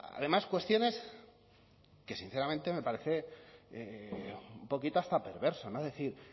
además cuestiones que sinceramente me parece un poquito hasta perverso no decir